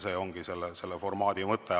See ongi selle formaadi mõte.